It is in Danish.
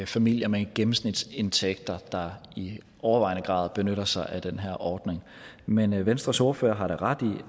familier med en gennemsnitsindtægt der i overvejende grad benytter sig af den her ordning men venstres ordfører har da ret i